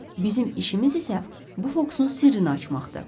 Bizim işimiz isə bu fokusun sirrini açmaqdır.